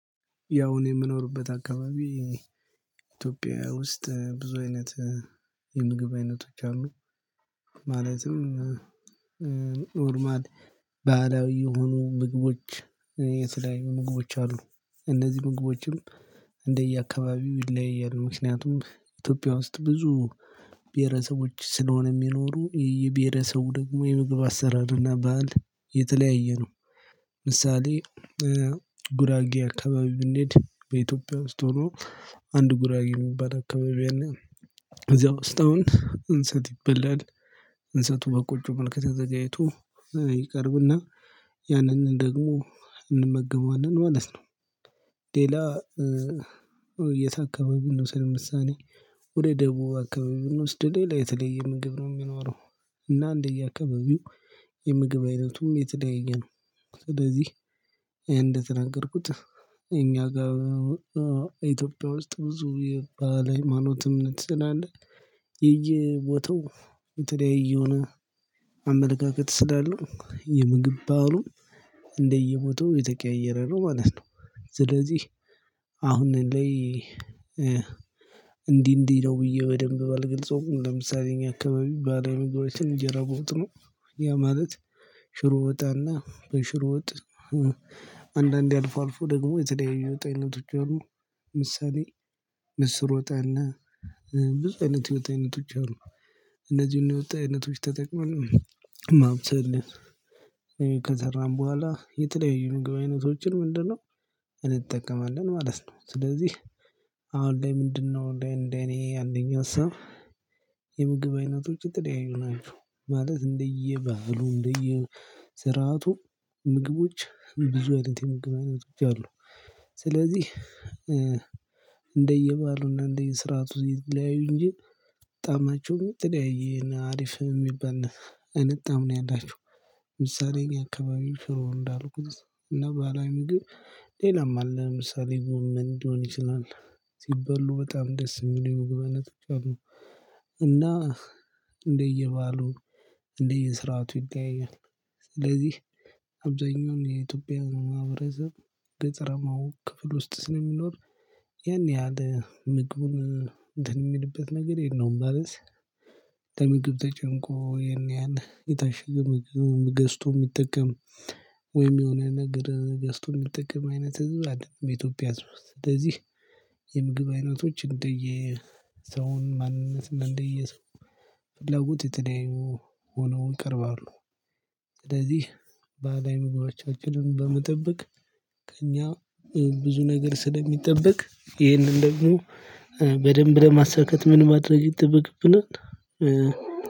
ያው እኔ የምኖርበት አካባቢ ኢትዮጵያ ውስጥ ብዙ አይነት የምግብ አይነቶች አሉ። ማለትም ኖርማል ባህላዊ የሆኑ ምግቦች የተለያዩ ምግቦች አሉ። እነዚህ ምግቦችም እንደየአካባቢው ይለያያሉ ምክንያቱም ኢትዮጵያ ውስጥ ብዙ ብሄረሰቦች ስለሆነ የሚኖሩ የብሄረሰቡ ደግሞ የምግብ አሰራርና ባህል የተለያየ ነው። ምሳሌ ጉራጌ አካባቢ ብንሄድ በኢትዮጵያ ውስጥ ሆኖ አንድ ጉራጌ የሚባል አካባቢ እና እዚያ ውስጥ አሁን እንስት ይበላል እንሰት በቆጮ መልክ ተዘጋጅቶ ይቀርብና ያንን ደግሞ እንመገበዋለን ማለት ነው። ሌላ የትአካባቢ እንውሰድ ለምሳሌ ወደ ደቡብ አካባቢ ብንወስድ ሌላ የተለየ ምግብ ነው የሚኖረው። እና እንደየአካባቢው የምግብ አይነቱም የተለያየ ነው። ስለዚህ እንደተናገርኩት እኛ ጋር ኢትዮጵያ ውስጥ ብዙ የባህል ሃይማኖትም እምነት ስለአለ የየቦታው የተለያየየሆነ አመለካከት ስላለው የምግብ ባሉ እንደየቦታው የተቀየረ ነው ማለት ነው። ስለዚህ አሁን ላይ እንዲህ እንዲህ ነው ብዬ በደንብ ባልገልፀውም ለምሳሌ እኛ አካባቢ ባህላዊ ምግቦችን እንጀራ በወጥ ነው። ያ ማለት ሽሮ ወጥና በሽሮ ወጥ አንዳንዴ አልፎ አልፎ ደግሞ የተለያዩ የወጥ አይነቶች አሉ። ምሳሌ ምስር ወጥ አለ። ብዙ አይነት የወጥ አይነቶች አሉ። እነዚህን የወጣ አይነቶች ተጠቅመን ማብሰል ከሰራን በኋላ የተለያዩ ምግብ አይነቶችን ምንድነው እንጠቀማለን ማለት ነው። ስለዚህ አሁን ላይ ምንድነው እንደ እኔ እንደኔ ያለኝ ሀሳብ የምግብ አይነቶች የተለያዩ ናቸው። ማለት እንደየባህሉ እንደየ ስርዓቱ ምግቦች ብዙ አይነት የምግብ አይነቶች አሉ። ስለዚህ እንደየባሉና እንደየስራቱ ይለያዩ እንጂ ጣማቸው የተለያየ እና አሪፍ የሚባል አይነት ጣዕም ነው ያላችሁ። ምሳሌ እኛ አካባቢው ሽሮ እንዳሉ እና ባህላዊ ምግብ ሌላም አለ ለምሳሌ ጎመን ሊሆን ይችላል። ሲበሉ በጣም ደስ የሚለው። እንደየ ባህሉ እንደየ ስርዓቱ ይለያያል። ስለዚህ አብዛኛውን የኢትዮጵያን ማህበረሰብ ገጠረማው ክፍል ውስጥ ስለሚኖር ያን ያህል ምግቡን እንትን እሚልበት ነገር የለም። ማለት ለምግብ ተጨንቆ ይህን ያህል የታሸገ ምግብ ገዝቶ የሚጠቀም ወይም የሆነ ነገር ገስቶን የሚጠቅም አይነት እዚህ አይደለም በኢትዮጵያ ውስጥ ስለዚህ። የምግብ አይነቶች እንደየ ሰውን ማንነት እንደየ ሰው ለጉጢጥሌው ሆነው እቀርባለሁ። ባህላዊ ምግባቻችንን በመጠበቅ ከእኛ ብዙ ነገር ስለሚጠበቅ ይህንን ደግሞ በደንብ ለማሳካት ምን ማድረግ ይጠበቅብናል።